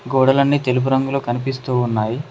గోడలన్నీ తెలుపు రంగులో కనిపిస్తూ ఉన్నాయి.